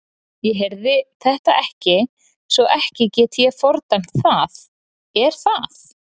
Ég heyrði þetta ekki svo ekki get ég fordæmt það er það?